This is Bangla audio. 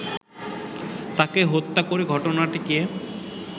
তাকে হত্যা করে ঘটনাটিকে